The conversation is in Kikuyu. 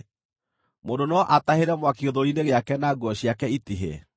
Mũndũ no atahĩre mwaki gĩthũri-inĩ gĩake, na nguo ciake itihĩe?